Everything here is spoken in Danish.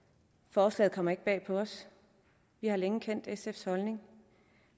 forslaget kommer ikke bag på os vi har længe kendt sfs holdning